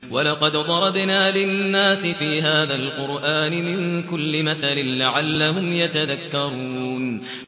وَلَقَدْ ضَرَبْنَا لِلنَّاسِ فِي هَٰذَا الْقُرْآنِ مِن كُلِّ مَثَلٍ لَّعَلَّهُمْ يَتَذَكَّرُونَ